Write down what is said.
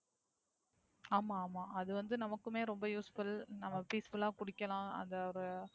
ஆமா ஆமா அது வந்து நமக்குமே ரெம்ப Useful நம்ம Peaceful லா குடிக்கலாம். அந்த ஒரு